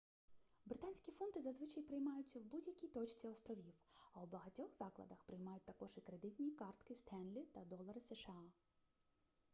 британські фунти зазвичай приймаються в будь-якій точці островів а у багатьох закладах приймають також і кредитні картки stanley та долари сша